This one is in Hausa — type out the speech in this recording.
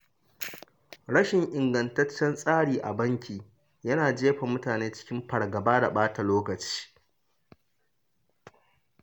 Rashin ingantaccen tsari a banki yana jefa mutane cikin fargaba da ɓata lokaci.